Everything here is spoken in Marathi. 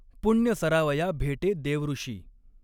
पुण्य सरावया भेटे देवऋषी।